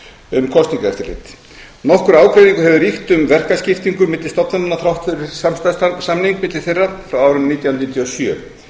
um kosningaeftirlit nokkur ágreiningur hefur ríkt um verkaskiptingu milli stofnananna þrátt fyrir samstarfssamning milli þeirra frá árinu nítján hundruð níutíu og sjö